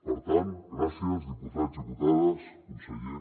per tant gràcies diputats diputades conseller